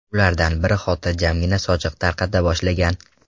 Ulardan biri xotirjamgina sochiq tarqata boshlagan.